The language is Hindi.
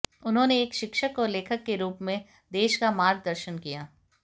उन्होंने एक शिक्षक और लेखक के रूप में देश का मार्गदर्शन किया